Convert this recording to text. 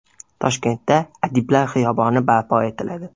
Toshkentda Adiblar xiyoboni barpo etiladi.